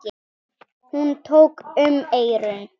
Hún tók um eyrun.